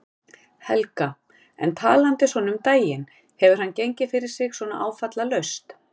Helga: En talandi svona um daginn, hefur hann gengið fyrir sig svona áfallalaust?